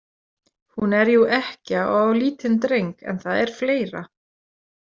Hún er jú ekkja og á lítinn dreng en það er fleira.